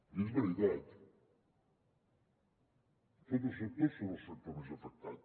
i és veritat tots els sectors són el sector més afectat